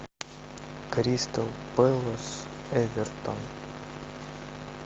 кристал пэлас эвертон